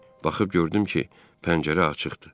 Baxıb gördüm ki, pəncərə açıqdır.